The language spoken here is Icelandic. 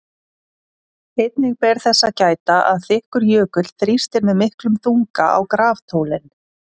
Einnig ber þess að gæta að þykkur jökull þrýstir með miklum þunga á graftólin.